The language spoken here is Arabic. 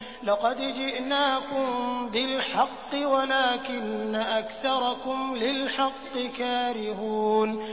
لَقَدْ جِئْنَاكُم بِالْحَقِّ وَلَٰكِنَّ أَكْثَرَكُمْ لِلْحَقِّ كَارِهُونَ